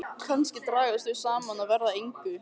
Kannski dragast þau saman og verða að engu.